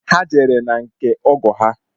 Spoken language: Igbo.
Ha jere na nke ọgọ ha